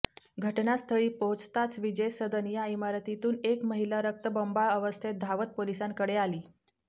घटनास्थळी पोहोचताच विजय सदन या इमारतीतून एक महिला रक्तबंबाळ अवस्थेत धावत पोलिसांकडे आली